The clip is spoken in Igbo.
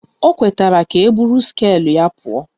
O kwetara ka eburu skeelụ ya pụọ